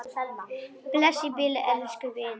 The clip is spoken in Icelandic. Bless í bili, elsku vinur.